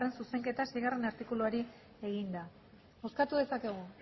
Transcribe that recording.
zuzenketa seigarrena artikuluari egina bozkatu dezakegu